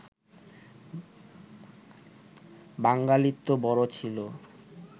বাঙালিত্ব বড় ছিল